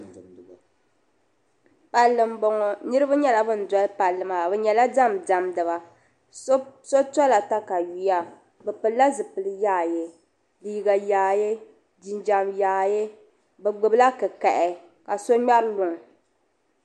Palli n boŋɔ niribi nyala ban dolli palli maa bɛ nyala dɛmdɛmdiba so tola takaweya bɛ pɛla ƶipɛli yaayɛ liga yaayɛ ginjɛm yaayɛ bigbila kikahi ka so mŋɛri luŋa.